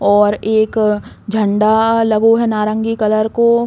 और एक झंडा लगो है नारंगी कलर को।